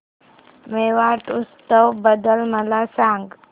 मेवाड उत्सव बद्दल मला सांग